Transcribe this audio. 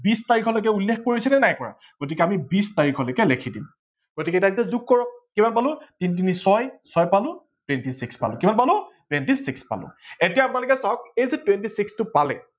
বিছ তাৰিখলৈকে উল্লেখ কৰিছিলে নে নাই কৰা গতিকে আমি বিছ তাৰিখলৈকে লিখি দিম গতিকে তাৰ পাছত যোগ কৰক কিমান পালো তিনি তিনি ছয়, ছয় পালো twenty six পালো কিমান পালো twenty six পালো এতিয়া আপোনালোকে চাৱক এই যে twenty six টো পালে